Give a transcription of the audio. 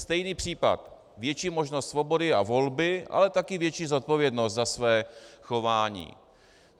Stejný případ - větší možnost svobody a volby, ale také větší zodpovědnost za své chování.